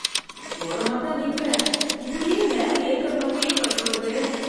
ஓரமா தான் நிக்குறேன், இப்படியே மேல ஏத்தற மாதிரியே பஸ் வருதே.